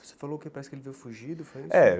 Você falou que parece que ele veio fugido, foi isso? É